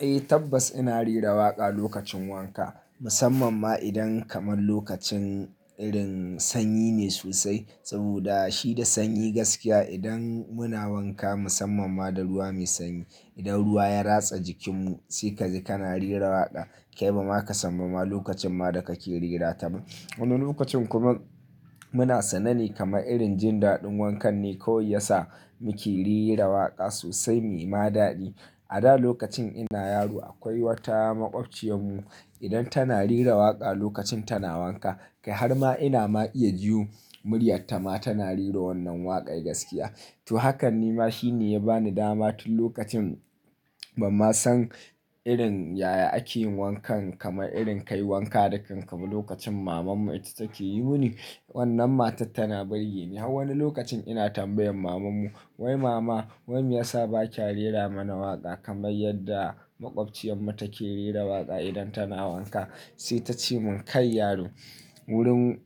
Eh tabbas ina rera waƙa lokacin wanka. Musamman ma idan kamar lokacin irin sanyi ne sosai. Saboda shi da sanyi gaskiya idan muna wanka musamman ma da ruwa mai sanyi, idan ruwa ya ratsa jikinmu sai kaji kana rera waƙa. Kai ba ma ka sanna ma lokacin ma da kake rera ta ba. Wani lokacin kuma muna sanane kamar irin jin daɗin wankan ne kawai yasa muke rera waƙa sosai muyi ma daɗi. A da lokacin ina yaro akwai wata maƙwabciyarmu idan tana rera waƙa lokacin tana wanka, kai har ma ina ma iya ji muryarta ma tana rera wannan waƙar gaskiya. To hakan ne ma shi ne ya bani dama tun lokacin ban ma san irin yaya ake yin wankan kamar irin kai wanka da kanka ba lokacin mamanmu ita take yi mun. Wannan matar tana bari ne. Wani lokacin ina tambayan mamanmu "wai mama wai me yasa ba kya rera mana waƙa kamar yadda maƙwabciyarmu take rera waƙa idan tana wanka?" Sai ta ce mun "kai yaro wurin,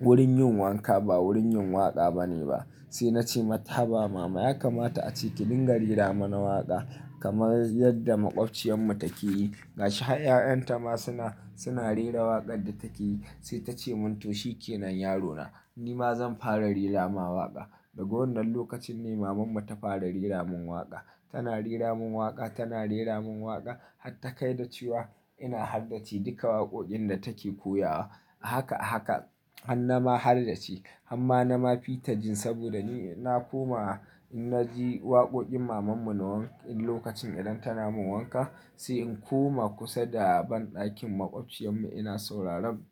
wurin yin wanka ba wurin yin waƙa ba ne ba." Sai na ce mata "haba mama ya kamata a ce ki dinga rera mana waƙa kamar yadda maƙwabciyarmu take yi. Gashi har 'ya'yan ta ma suna, suna rera waƙar da take yi." Sai ta ce mun "to shikenan yaro na, ni ma zan fara rera ma waƙa." Daga wannan lokacin ne mamanmu ta fara rera mun waƙa. Tana rera mun waƙa, tana rera mun waƙa, har ta kai da cewa ina haddace duka waƙoƙin da take koya wa. A haka a haka har na ma hardace. Amma na ma fi ta jin saboda ni na koma ina ji waƙoƙin mamanmu na lokacin idan tana mun wanka. Sai in koma kusa da banɗakin maƙwabciyar mu ina sauraron,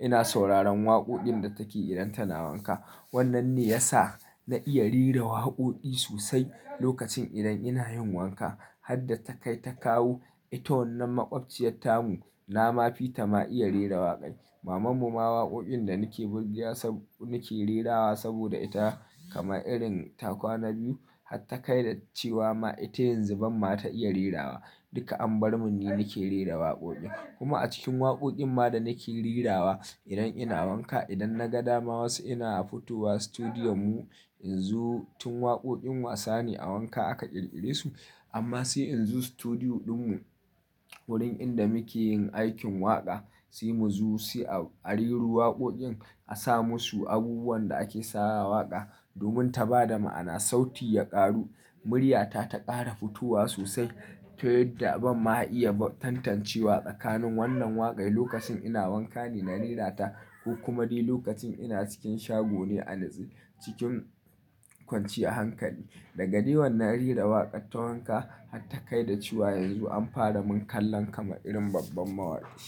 ina sauraron waƙoƙin da take yi idan tana wanka. Wannan ne ya sa na iya rera waƙoƙi sosai lokacin idan ina yin wanka. Har da ta kai ta kawo ita wannan maƙwabciyarta mu, na ma fi ta ma iya rera waƙaƙai. Maman mu ma waƙoƙin da nake burge ya sa nake rerawa saboda ita kama irin ta kwana biyu har ta kai da cewa ma ita yanzu ban ma ta iya rerawa. Duka an bar mun ni nake rera waƙoƙin. Kuma a cikin waƙoƙin ma da nake rerawa idan ina wanka, idan na ga dama wasu ina a futuwar situdiyo mu in zo tun waƙoƙin wasa ne a wanka aka ƙirƙire su. Amma sai in zo situdiyo dun mu wurin inda muke yin aikin waƙa. Sai mu zo sai a rera waƙoƙin a sa musu abubuwan da ake sawa waƙa domin ta ba da ma'ana, sauti ya ƙaru, muryata ta ƙara futowa sosai. Tq yadda ban ma iya tantancewa tsakanin wannan waƙai lokacin ina wanka ne na rerata ko kuma dai lokacin ina cikin shago ne a nutse cikin kwanciya hankali. Daga dai wannan rera waƙaƙa ton wanka har ta kai da cewa yanzu an fara mun kallon kama irin babban mawaki.